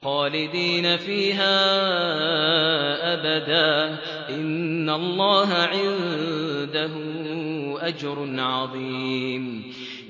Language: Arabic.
خَالِدِينَ فِيهَا أَبَدًا ۚ إِنَّ اللَّهَ عِندَهُ أَجْرٌ عَظِيمٌ